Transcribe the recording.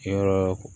Kɛ yɔrɔ